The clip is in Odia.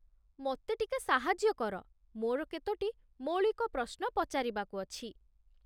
ମୋତେ ଟିକେ ସାହାଯ୍ୟ କର, ମୋର କେତୋଟି ମୌଳିକ ପ୍ରଶ୍ନ ପଚାରିବାକୁ ଅଛି